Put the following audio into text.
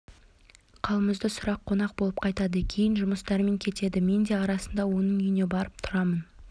қалымызды сұрап қонақ болып қайтады кейін жұмыстарымен кетеді мен де арасында оның үйіне барып тұрамын